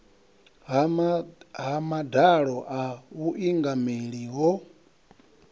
ha madalo a vhuingameli ho